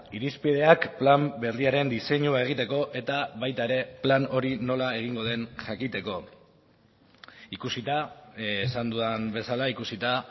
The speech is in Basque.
irizpideak plan berriaren diseinua egiteko eta baita ere plan hori nola egingo den jakiteko ikusita esan dudan bezala ikusita